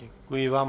Děkuji vám.